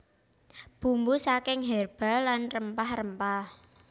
Bumbu saking herba lan rempah rempah